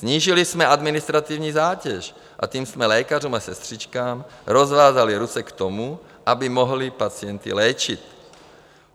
Snížili jsme administrativní zátěž, a tím jsme lékařům a sestřičkám rozvázali ruce k tomu, aby mohli pacienty léčit.